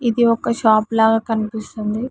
ఇది ఒక షాప్ లాగా కనిపిస్తుంది.